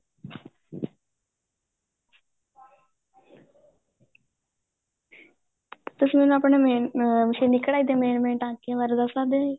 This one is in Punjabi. ਤੁਸੀਂ ਹੁਣ ਆਪਣੇ main ਮਸ਼ੀਨੀ ਕਢਾਈ ਦੇ main main ਟਾਂਕਿਆਂ ਬਾਰੇ ਦਸ ਸਕਦੇ ਆ ਜੀ